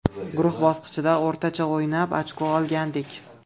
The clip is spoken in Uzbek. Guruh bosqichida o‘rtacha o‘ynab, ochko olgandik.